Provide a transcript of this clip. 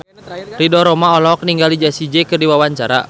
Ridho Roma olohok ningali Jessie J keur diwawancara